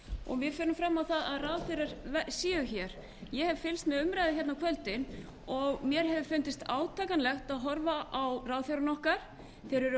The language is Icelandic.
og við förum fram á að ráðherrar séu hér ég hef fylgst með umræðu á kvöldin og mér hefur fundist átakanlegt að horfa á ráðherrana okkar þeir eru